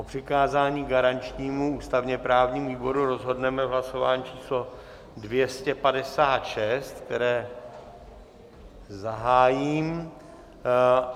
O přikázání garančnímu ústavně-právnímu výboru rozhodneme v hlasování číslo 256, které zahájím.